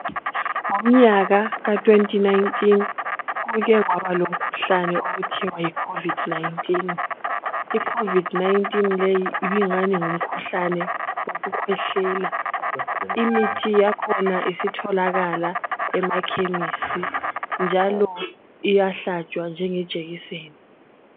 Ngomnyaka ka2019 kukekwaba lomkhuhlane okuthiwa yi Covid 19. I COVID 19 leyi ibingani ngumkhuhlane wokukhwehlela. Imithi yakhona isitholakala emakhemisi njalo iyahlatshwa njengejekiseni.